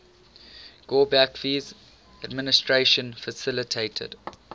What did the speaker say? gorbachev's administration facilitated